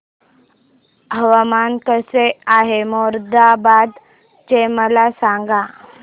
हवामान कसे आहे मोरादाबाद चे मला सांगा